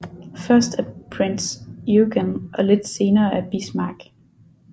Først af Prinz Eugen og lidt senere af Bismarck